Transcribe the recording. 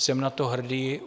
Jsem na to hrdý.